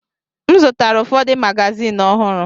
M zụtara ụfọdụ magazin ọhụrụ.